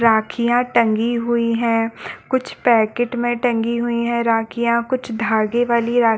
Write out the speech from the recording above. राखिया टंगी हुई है कुछ पैकेट में टंगी हुई है रखिया कुछ धागे वाले राखियाँ--